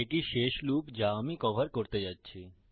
এটি শেষ লুপ যা আমি কভর করতে যাচ্ছি